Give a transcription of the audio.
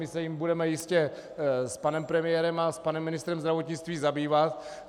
My se jím budeme jistě s panem premiérem a s panem ministrem zdravotnictví zabývat.